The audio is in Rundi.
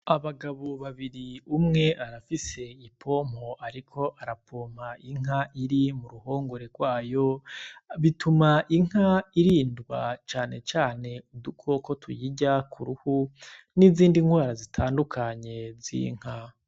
Abagabo babiri umwe arafise ipompo, ariko arapoma inka iri mu ruhongore rwayo bituma inka irindwa canecane udukoko tuyirya ku ruhu n'izindi ntwara zitandukanye z'inka.